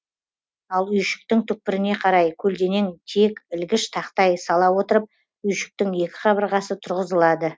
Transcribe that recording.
ал үйшіктің түкпіріне қарай колденең тиек ілгіш тақтай сала отырып үйшіктің екі қабырғасы тұрғызылады